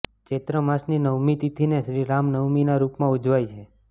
ચૈત્ર માસની નવમી તિથિને શ્રીરામ નવમીના રૂપમાં ઉજવાય છે